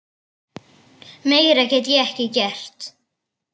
Meira get ég ekki gert.